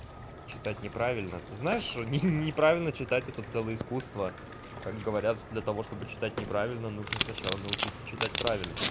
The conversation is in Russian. читать неправильно ты знаешь ни неправильно читать это целое искусство как говорят для того чтобы читать неправильно нужно сначала научиться читать правильно